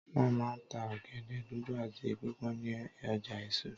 Wọ́n máa ń ta ọ̀gẹ̀dẹ̀ dúdú àti pípọ́n ní ọjà èso.